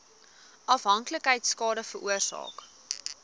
afhanklikheid skade veroorsaak